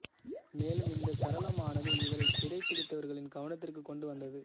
மேலும் இந்த சரளமானது இவரை சிறைப்பிடித்தவர்களின் கவனத்திற்குக் கொண்டு வந்தது